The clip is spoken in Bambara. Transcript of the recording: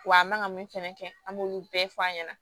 Wa a man kan ka min fɛnɛ kɛ an b'olu bɛɛ fɔ an ɲɛna